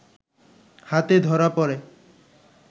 হাতে ধরা পড়ে